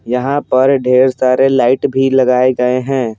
यहाँ पर ढेर सारे लाइट भी लगाए गए हैं।